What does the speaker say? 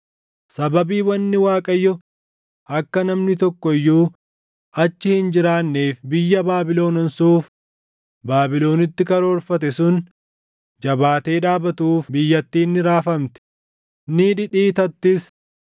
Sababii wanni Waaqayyo akka namni tokko iyyuu achi hin jiraanneef biyya Baabilon onsuuf Baabilonitti karoorfate sun jabaatee dhaabatuuf biyyattiin ni raafamti; ni dhidhiitattis.